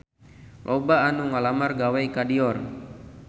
Loba anu ngalamar gawe ka Dior